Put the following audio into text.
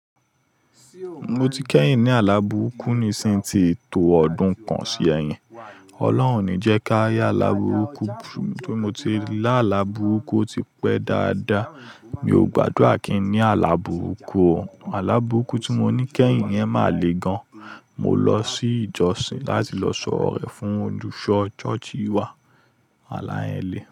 Mo ti kẹ́yìn ní alábùrukú ni sí ti tó ọdún kan sí ẹ̀yìn. Ọlọ́run oní jẹ ká yá alábùrukú. Bí mo ti lá alábùrukú ó ti pẹ́ dáadáa. Mi ò gbádùrà kíní alábùrukú o. Alábùrukú tí mo ní kẹ́yìn yẹn máa le gan. Mo lọ sí ìjọsìn láti lọ sọ ọ̀rọ̀ re fún olùṣọ́ ṣọ́ọ̀ṣì wa. Àlá yẹn le.